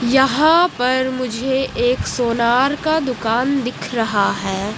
यहां पर मुझे एक सोनार का दुकान दिख रहा है।